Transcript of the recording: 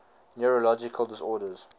neurological disorders